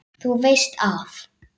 Þú veist að.